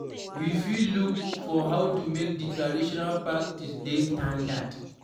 We fit look for how to make di traditional practice dey standard